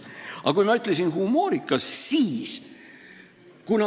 Aga miks ma ütlesin "humoorikas"?